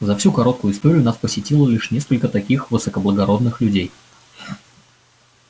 за всю короткую историю нас посетило лишь несколько таких высокоблагородных людей